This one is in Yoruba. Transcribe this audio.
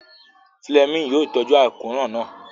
Fúlẹ́mìnì yóò tọ́jú àkóràn náà